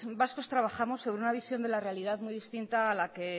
vascos trabajamos en una visión de la realidad muy distinta a la que eh